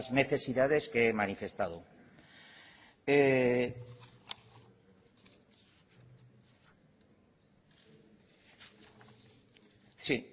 necesidades que he manifestado